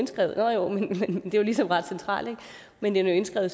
ligesom er ret centralt men den er indskrevet